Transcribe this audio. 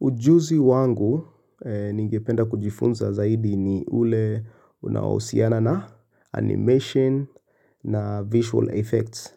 Ujuzi wangu ningependa kujifunza zaidi ni ule unaohusiana na animation na visual effects.